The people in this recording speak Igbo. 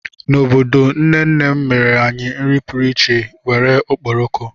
N'obodo, nne nne mere anyị nri pụrụ iche nwere okporoko.